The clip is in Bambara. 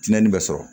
Tiɲɛni bɛ sɔrɔ